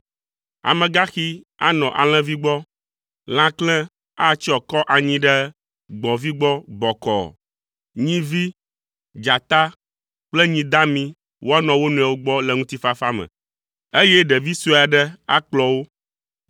Amegaxi anɔ alẽvi gbɔ, lãklẽ atsyɔ akɔ anyi ɖe gbɔ̃vi gbɔ bɔkɔɔ, nyivi, dzata kple nyi dami woanɔ wo nɔewo gbɔ le ŋutifafa me, eye ɖevi sue aɖe akplɔ wo.